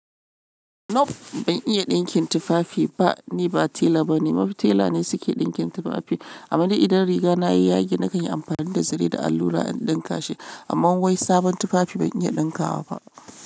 Nup ban iya ɗinkin tufafi ba, ni ba tela bane, mafi tela ne suke ɗinkin tufafi. Amade idan riga na yi yage na kan yi amfani da zare da allura in ɗinka shi, amma wai sabon tufafi ban iya ɗinka wa ba.